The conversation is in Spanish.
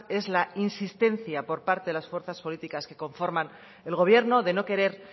es la insistencia por parte de las fuerzas políticas que conforman el gobierno de no querer